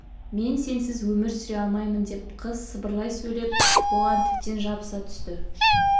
мен сенсіз өмір сүре алмаймын деп қыз сыбырлай сөйлеп бұған тіптен жабыса түсті